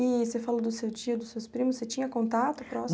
E você falou do seu tio, dos seus primos, você tinha contato próximo?